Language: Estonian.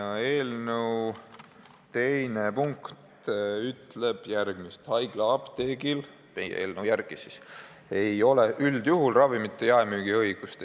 Meie eelnõu teine punkt ütleb järgmist: haiglaapteegil ei ole üldjuhul ravimite jaemüügi õigust.